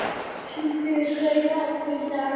Sigfríður, hvað er í dagatalinu í dag?